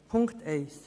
Punkt 1